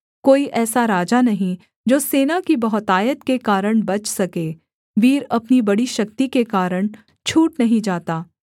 कोई ऐसा राजा नहीं जो सेना की बहुतायत के कारण बच सके वीर अपनी बड़ी शक्ति के कारण छूट नहीं जाता